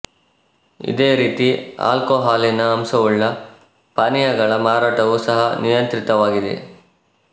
ಇದೇ ರೀತಿ ಆಲ್ಕೋಹಾಲಿನ ಅಂಶವುಳ್ಳ ಪಾನೀಯಗಳ ಮಾರಾಟವೂ ಸಹಾ ನಿಯಂತ್ರಿತವಾಗಿದೆ